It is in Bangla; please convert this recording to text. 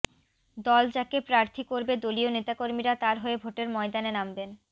দল যাকে প্রার্থী করবে দলীয় নেতাকর্মীরা তাঁর হয়ে ভোটের ময়দানে নামবেন